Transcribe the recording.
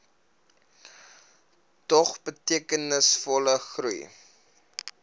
dog betekenisvolle groei